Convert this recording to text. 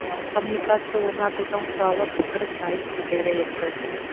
коммуникация орнатудың құралы пікір сайыс деп жария етті